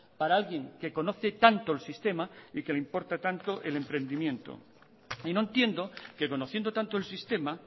para alguien que conoce tanto el sistema y que le importa tanto el emprendimiento y no entiendo que conociendo tanto el sistema